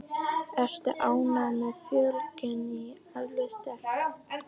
Ertu ánægð með fjölgun í efstu deild?